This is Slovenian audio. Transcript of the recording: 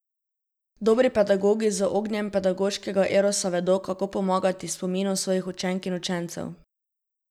Dobri pedagogi z ognjem pedagoškega erosa vedo, kako pomagati spominu svojih učenk in učencev.